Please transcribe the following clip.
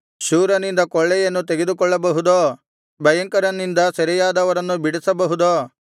ಶೂರನಿಂದ ಕೊಳ್ಳೆಯನ್ನು ತೆಗೆದುಕೊಳ್ಳಬಹುದೋ ಭಯಂಕರನಿಂದ ಸೆರೆಯಾದವರನ್ನು ಬಿಡಿಸಬಹುದೋ